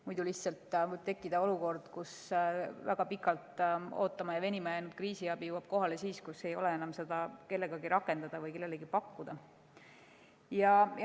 Muidu lihtsalt võib tekkida olukord, kus väga pikalt ootama ja venima jäänud kriisiabi jõuab kohale alles siis, kui ei ole seda enam kellelegi pakkuda.